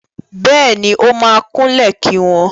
Bẹ́ẹ̀ni, ó máa kúnlẹ̀ kí wọn.